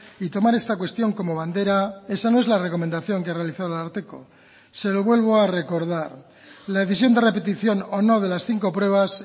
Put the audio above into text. y tomar esta cuestión como bandera esa no es la recomendación que ha realizado el ararteko se lo vuelvo a recordar la decisión de repetición o no de las cinco pruebas